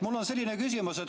Mul on selline küsimus.